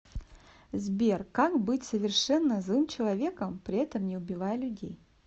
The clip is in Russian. сбер как быть совершенно злым человеком при этом не убивая людей